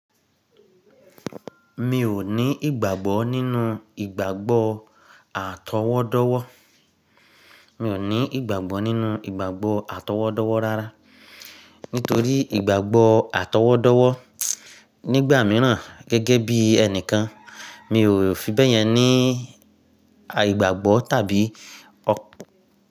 Mi ò ní ìgbàgbọ́ nínú ìgbàgbọ́ àtọwọ́dọ́wọ́. Mi ò ní ìgbàgbọ́ nínú ìgbàgbọ́ àtọwọ́dọ́wọ́ rárá. Nitori igbagbo atowodowo nigba miran gege bi enikan mi o fi beyen ni aigbagbo tabi.